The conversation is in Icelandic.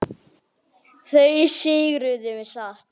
Það segirðu satt.